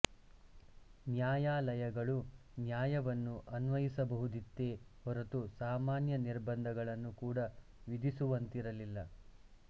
ನ್ಯಾಯಾಲಯಗಳು ನ್ಯಾಯವನ್ನು ಅನ್ವಯಿಸಬಹುದಿತ್ತೆ ಹೊರತು ಸಾಮಾನ್ಯ ನಿಬಂಧನೆಗಳನ್ನು ಕೂಡ ವಿಧಿಸುವಂತಿರಲಿಲ್ಲ